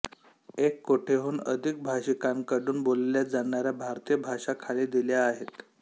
एक कोटीहून अधिक भाषिकांकडून बोलल्या जाणाऱ्या भारतीय भाषा खाली दिल्या आहेत